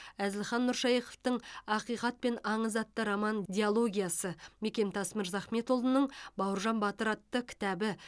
әзілхан нұршайықовтың ақиқат пен аңыз атты роман дилогиясы мекемтас мырзахметұлының бауыржан батыр атты кітабы